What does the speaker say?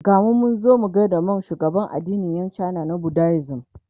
gamu Munzo gaida Monk shugaban addinin Yan china na budaism